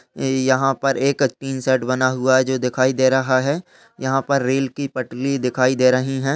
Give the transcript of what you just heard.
यहाँ पर एक टीन शेड बना हुआ है जो दिखाई दे रहा है। यहाँ पर रेल की पटली दिखाई दे रहीं हैं।